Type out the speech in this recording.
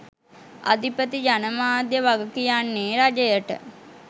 අධිපති ජනමාධ්‍ය වගකියන්නේ රජයට